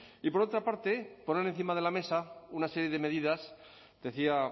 y por otra parte poner encima de la mesa una serie de medidas decía